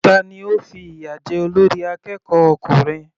Tani ó fi ìyà jẹ olórí akẹ́kọ̀ọ́ ọkùnrin?